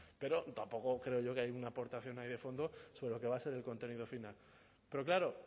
pero tampoco creo yo que hay una aportación ahí de fondo sobre lo que va a ser el contenido final pero claro